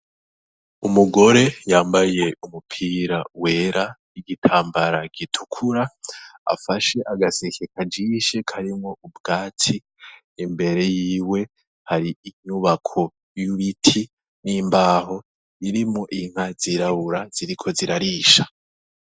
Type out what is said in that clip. Umugore yambaye umupira wera igitambara gitukura afashe agaseke kajishe karimwo ubwatsi imbere yiwe hari inyubako y'ibiti n'imbaho irimwo inka ziriko zirarisha.